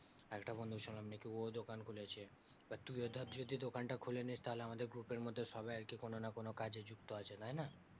আরেকটা বন্ধু শুনলাম নাকি ও দোকান খুলেছে বা তুইও ধর যদি দোকানটা খুলে নিস্ তাহলে আমাদের group এর মধ্যে মধ্যে সবাই একই কোনো না কোনো কাজে যুক্ত আছে তাইনা